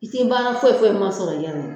I tɛ baara foyi foyi ma sɔrɔ i yɛrɛ ɲɛ.